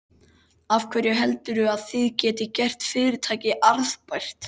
Af hverju heldurðu að þið getið gert fyrirtækið arðbært?